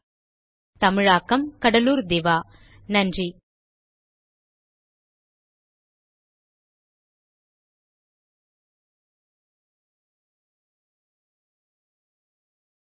spoken hyphen tutorial dot org slash NMEICT hyphen intro தமிழாக்கம் கடலூர் திவா வணக்கம்